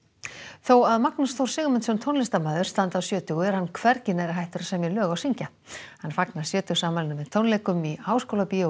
þó að Magnús Þór Sigmundsson tónlistarmaður standi á sjötugu er hann hvernig nærri hættur að semja lög og syngja hann fagnar sjötugsafmælinu með tónleikum í Háskólabíói